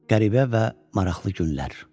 Qəribə və maraqlı günlər.